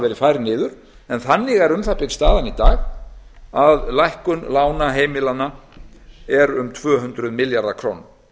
verið færð niður en þannig er um það bil staðan í dag að lækkun lána heimilanna er um tvö hundruð milljarðar króna